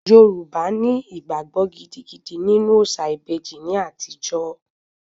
Yorùbá ní ìgbàgbọ gidigidi nínú òòṣà ìbejì ní àtijó